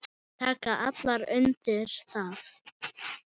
Þær taka allar undir það.